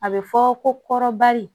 A bɛ fɔ ko kɔrɔbali